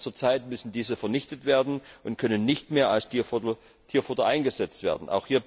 Aber zur Zeit müssen diese vernichtet werden und können nicht mehr als Tierfutter eingesetzt werden.